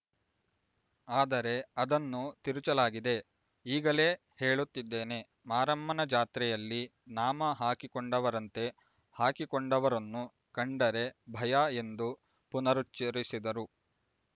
ಅದರೆ ಅದನ್ನು ತಿರುಚಲಾಗಿದೆ ಈಗಲೇ ಹೇಳುತ್ತಿದ್ದೇನೆ ಮಾರಮ್ಮನ ಜಾತ್ರೆಯಲ್ಲಿ ನಾಮ ಹಾಕಿಕೊಂಡವರಂತೆ ಹಾಕಿಕೊಂಡವರನ್ನು ಕಂಡರೆ ಭಯ ಎಂದು ಪುನರುಚ್ಚರಿಸಿದರು